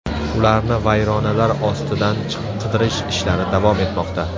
Ularni vayronalar ostidan qidirish ishlari davom etmoqda.